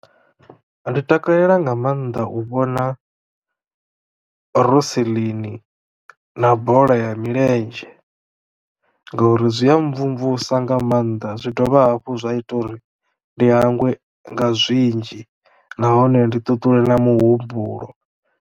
Ndi takalela nga mannḓa u vhona rosiḽini na bola ya milenzhe ngauri zwi a mvumvusa nga mannḓa zwi dovha hafhu zwa ita uri ndi hangwe nga zwinzhi nahone ndi ṱuṱule na muhumbulo.